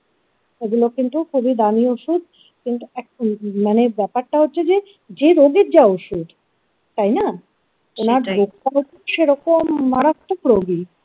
এগুলো কিন্তু খুবই দামি ওষুধ কিন্তু একটা মানে ব্যাপারটা হচ্ছে যে যে রোগের যা ওষুধ তাই না! ওনার রোগ টা ঠিক সেরকম মারাত্মক রোগী।